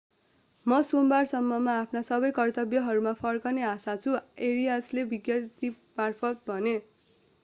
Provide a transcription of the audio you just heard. म सोमबारसम्ममा आफ्ना सबै कर्तव्यहरूमा फर्कने आशा गर्छु arias ले विज्ञप्तिमार्फत भने